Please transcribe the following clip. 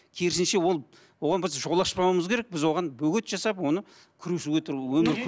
керісінше ол оған біз жол ашпауымыз керек біз оған бөгет жасап оны күресіп отыру өмір